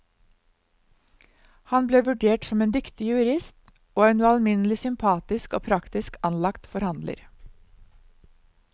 Han ble vurdert som en dyktig jurist og en ualminnelig sympatisk og praktisk anlagt forhandler.